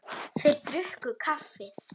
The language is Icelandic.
Þeir drukku kaffið.